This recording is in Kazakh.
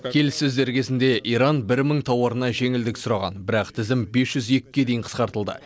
келіссөздер кезінде иран бір мың тауарына жеңілдік сұраған бірақ тізім бес жүз екіге дейін қысқартылды